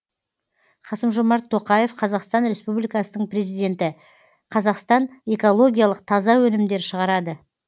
қасым жомарт тоқаев қазақстан республикасының президенті қазақстан экологиялық таза өнімдер шығарады